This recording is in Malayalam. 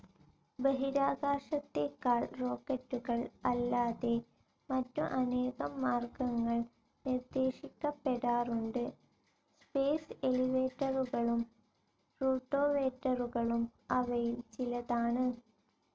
ബഹിരാകാശത്തേക്കാൾ റോക്കറ്റുകൾ അല്ലാതെ മറ്റു അനേകം മാർഗ്ഗങ്ങൾ നിർദ്ദേശിക്കപ്പെടാറുണ്ട്. സ്പേസ്‌ എലിവേറ്ററുകളും റൂട്ടോവേറ്ററുകളും അവയിൽ ചിലതാണ്.